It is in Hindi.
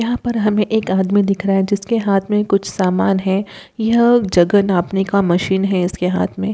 यहाँ पर हमें एक आदमी दिख रहा है जिसके हाथ में कुछ सामान है। यह जगह नापने का मशीन है इसके हाथ में।